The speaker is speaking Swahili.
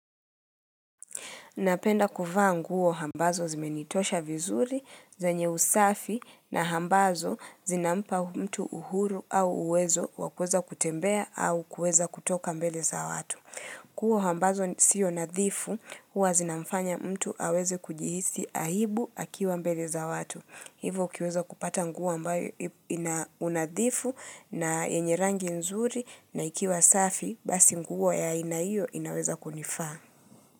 Napenda kuvaa nguo ambazo zimenitosha vizuri zenye usafi na ambazo zinampa mtu uhuru au uwezo wa kuweza kutembea au kuweza kutoka mbele za watu. Nguo ambazo sio nadhifu huwa zinamfanya mtu aweze kujihisi aibu akiwa mbele za watu. Hivo ukiweza kupata nguo ambayo ina unadhifu na yenye rangi nzuri na ikiwa safi basi nguo ya aina hiyo inaweza kunifaa.